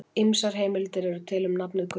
Ýmsar heimildir eru til um nafnið Guttorm.